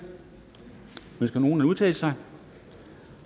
ønsker nogen at udtale sig